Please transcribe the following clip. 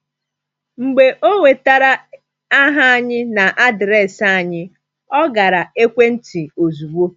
Mgbe ọ nwetara aha anyị na adreesị anyị, ọ gara ekwentị ozugbo.